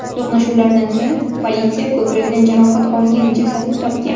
To‘qnashuvlardan so‘ng politsiya ko‘kragidan jarohat olgan jasadni topgan.